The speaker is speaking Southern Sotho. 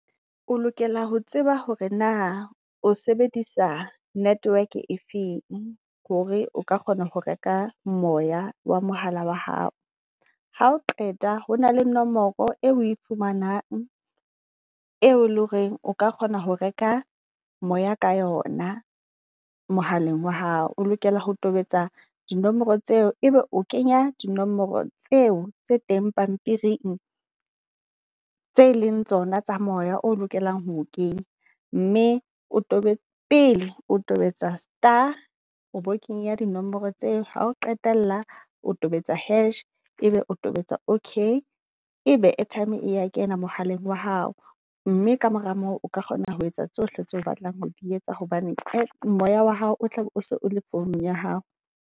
O lokela ho tseba hore na o sebedisa network e feng hore o ka kgona ho reka moya wa mohala wa hao? Ha o qeta ho na le nomoro eo e fumanang, eo le horeng o ka kgona ho reka moya ka yona mohaleng wa hao. O lokela ho tobetsa di nomoro tseo, ebe o kenya dinomoro tseo tse teng pampiring tse leng tsona tsa moya, o lokelang ho kenya. Mme o tobetse pele o tobetsa star o bo kenya dinomoro tseo. Ha o qetella o tobetsa hash, ebe o tobetsa okay, e be airtime ya kena mohaleng wa hao. Mme kamora moo o ka kgona ho etsa tsohle tseo o batlang ho di etsa hobane moya wa hao o tlabe o se o le founung ya hao.